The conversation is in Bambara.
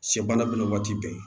Sɛ baara minɛ waati bɛɛ